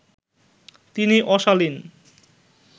তিনি অশালীন